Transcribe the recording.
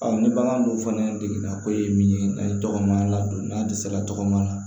ni bagan dun fana degunna ko ye min ye n'a ye tɔgɔmaya ladon n'a dɛsɛra tɔgɔma la